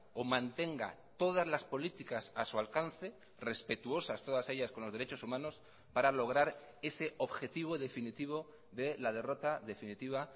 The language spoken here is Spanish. o mantenga todas las políticas a su alcance respetuosas todas ellas con los derechos humanos para lograr ese objetivo definitivo de la derrota definitiva